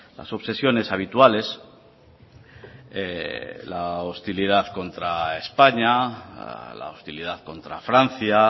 las obsesiones habituales la hostilidad contra españa la hostilidad contra francia